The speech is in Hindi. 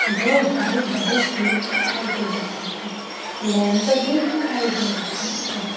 दो बड़े-बड़े गेट दिखाई दे रहै है लैंप भी दिखाई दे रहा है।